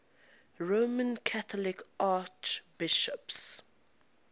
roman catholic archbishops